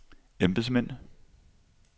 embedsmænd